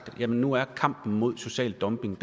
at nu er kampen mod social dumping